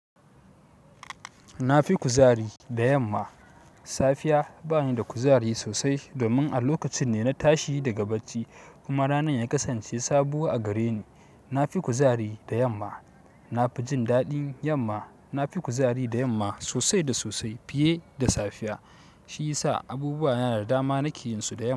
Na fi kuzari da yamma. Safiya bani da kuzari sosai domin a lokacin ne na tashi daga bacci, kuma ranar ya kasance sabo a gare ni. Na fi kuzari da yamma. Na fi jin daɗin yamma. Na fi kuzari da yamma sosai da sosai fiye da safiya. Shi yasa abubuwa na da dama nake yin su da yamma.